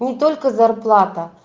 не только зарплата